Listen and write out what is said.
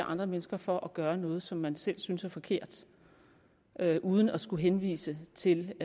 andre mennesker for at gøre noget som man selv synes er forkert uden at skulle henvise til